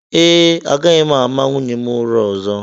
Ee, agaghị m ama nwunye m ụra ọzọ